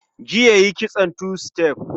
Jiya yi kitson tu-sitef